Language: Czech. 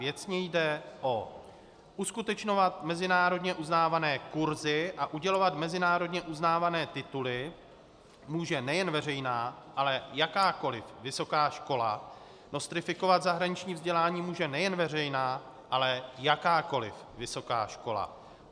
Věcně jde o: uskutečňovat mezinárodně uznávané kurzy a udělovat mezinárodně uznávané tituly může nejen veřejná, ale jakákoliv vysoká škola, nostrifikovat zahraniční vzdělání může nejen veřejná, ale jakákoliv vysoká škola.